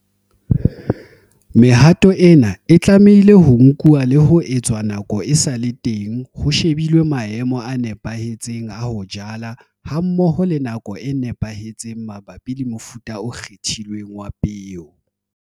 Mehato ena e tlamehile ho nkuwa le ho etswa nako e sa le teng ho shebilwe maemo a nepahetseng a ho jala hammoho le nako e nepahetseng mabapi le mofuta o kgethilweng wa peo.